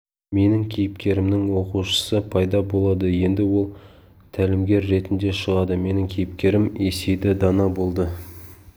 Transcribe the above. менің кейіпкерімнің оқушысы пайда болады енді ол тәлімгер ретінде шығады менің кейіпкерім есейді дана болды